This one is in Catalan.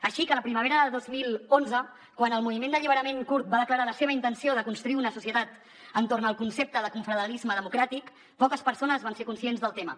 així que la primavera de dos mil onze quan el moviment d’alliberament kurd va declarar la seva intenció de construir una societat entorn del concepte de confederalisme democràtic poques persones van ser conscients del tema